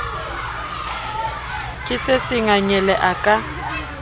ke se sengangele a ka